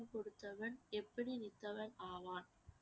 கொடுத்தவன் எப்படி நித்தவன் ஆவான்